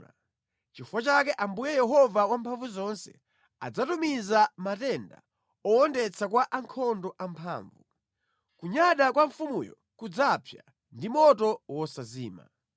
Nʼchifukwa chake Ambuye Yehova Wamphamvuzonse adzatumiza matenda owondetsa kwa ankhondo amphamvu; kunyada kwa mfumuyo kudzapsa ndi moto wosazima.